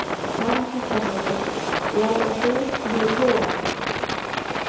Karen Kjartansdóttir: Já og þú hefur trú á honum?